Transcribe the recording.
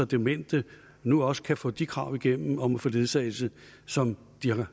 demente nu også kan få de krav igennem om at få ledsagelse som